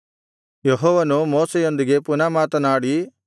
ಯೆಹೋವನು ಮೋಶೆಯೊಂದಿಗೆ ಪುನಃ ಮಾತನಾಡಿ